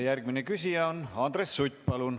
Järgmine küsija on Andres Sutt, palun.